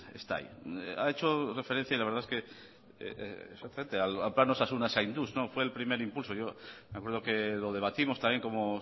está ahí ha hecho referencia la verdad es que exactamente al plan osasuna zainduz fue el primer impulso me acuerdo que lo debatimos también como